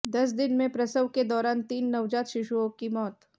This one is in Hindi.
दस दिन में प्रसव के दौरान तीन नवजात शिशुओं की मौत